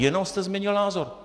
Jenom jste změnil názor.